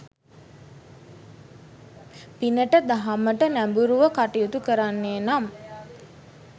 පිනට දහමට නැඹුරුව කටයුතු කරන්නේ නම්